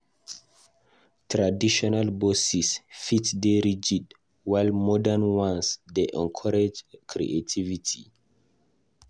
Traditional bosses fit dey rigid, while modern ones dey encourage creativity.